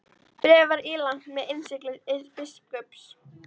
Bréfið var ílangt og með innsigli biskups.